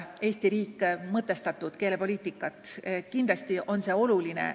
Eesti riik vajab mõtestatud keelepoliitikat, kindlasti on see oluline.